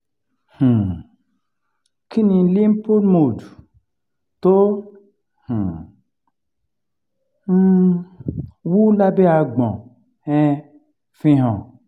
um kí ni lymph node tó um um wú lábẹ́ àgbon um ń fi hàn?